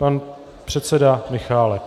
Pan předseda Michálek.